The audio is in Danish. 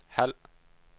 halv